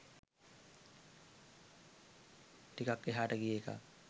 ටිකක් එහාට ගිය එකක්.